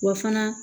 Wa fana